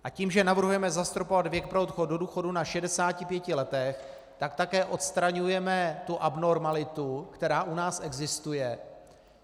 A tím, že navrhujeme zastropovat věk pro odchod do důchodu na 65 letech, tak také odstraňujeme tu abnormalitu, která u nás existuje.